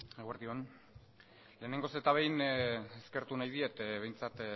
eguerdi on lehenengoz eta behin eskertu nahi diet behintzat